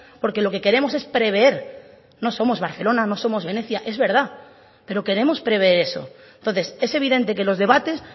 porque lo que queremos es prever no somos barcelona no somos venecia es verdad pero queremos prever eso entonces es evidente que los debates